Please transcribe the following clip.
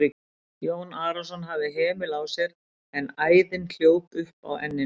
Jón Arason hafði hemil á sér en æðin hljóp upp á enninu.